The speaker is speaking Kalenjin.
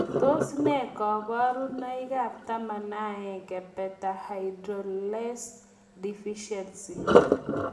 Tos nee kobunoikab 11 beta hydroxylase deficiency?